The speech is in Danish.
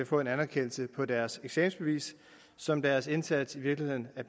få en anerkendelse på deres eksamensbevis som deres indsats i virkeligheden